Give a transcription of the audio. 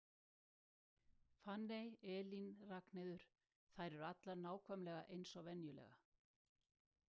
Fanney, Elín, Ragnheiður, þær eru allar nákvæmlega eins og venjulega.